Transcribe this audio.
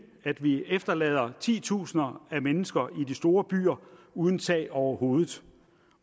at vi efterlader titusinder af mennesker i de store byer uden tag over hovedet